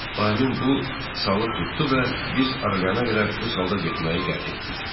O, həmin bu salı tutdu və biz Arliyana qədər bu salda getməyi qət etdik.